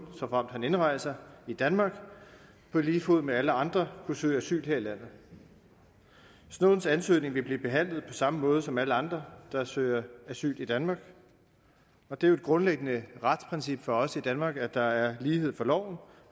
såfremt han indrejser i danmark på lige fod med alle andre kunne søge asyl her i landet snowdens ansøgning vil blive behandlet på samme måde som alle andre der søger asyl i danmark og det er jo et grundlæggende retsprincip for os i danmark at der er lighed for loven